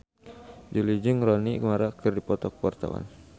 Jui jeung Rooney Mara keur dipoto ku wartawan